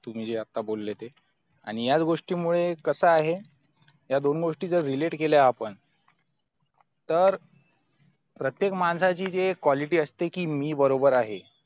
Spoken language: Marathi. तुमि ज्या बोले ते आणि याच गोष्टीमुळे कसा आहे या दोन गोष्टी जर relate केल्या आपण तर प्रतयेक माणसाची जे quality असते कि मी बरोबर आहे